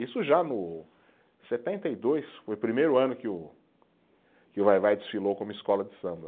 Isso já no setenta e dois, foi o primeiro ano que o, que o Vai-Vai desfilou como escola de samba.